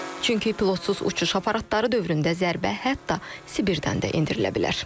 Çünki pilotsuz uçuş aparatları dövründə zərbə hətta Sibirdən də endirilə bilər.